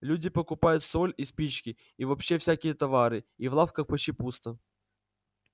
люди покупают соль и спички и вообще всякие товары и в лавках почти пусто